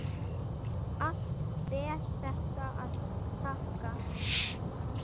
Allt ber þetta að þakka.